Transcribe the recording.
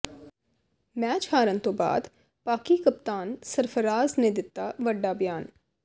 match ਹਾਰਨ ਤੋਂ ਬਾਅਦ ਪਾਕਿ ਕਪਤਾਨ ਸਰਫਰਾਜ਼ ਨੇ ਦਿੱਤਾ ਵੱਡਾ ਬਿਆਨ